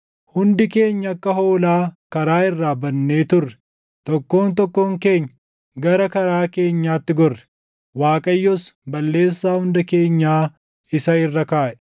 Hundi keenya akka hoolaa karaa irraa badnee turre; tokkoon tokkoon keenya gara karaa keenyaatti gorre; Waaqayyos balleessaa hunda keenyaa isa irra kaaʼe.